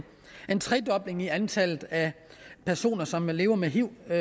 en tredobling i antallet af personer som lever med hiv og